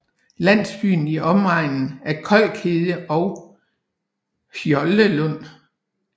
Landsbyer i omegnen er Kolkhede og Hjoldelund